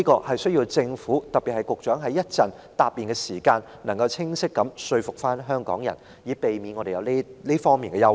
希望政府，特別是局長稍後答辯時，可以清晰說服香港人，以釋除我們的憂慮。